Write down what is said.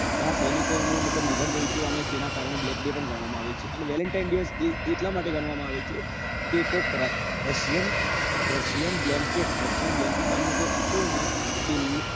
ઘણાં સૈનિકો નું મતલબ નિધન થયું હતું અને તેના કારણે black day પણ ગણવા માં આવે છે અને valentine દિવસ એટલા માટે ગણવા માં આવે છે કે કોક racianblancate હતું racian blancate નામ નું કોક હતું ને